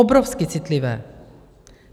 Obrovsky citlivé.